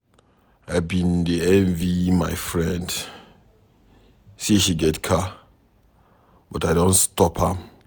I bin dey envy my friend say she get car but I don stop am